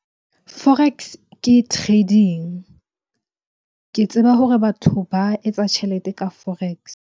Forex ke trading. Ke tseba hore batho ba etsa tjhelete ka forex.